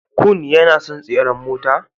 Kun yana son tseren mota.